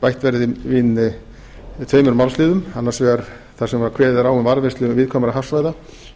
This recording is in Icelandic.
bætt verði inn tveimur málsliðum annars vegar þar sem kveðið er á um varðveislu viðkvæmra hafsvæða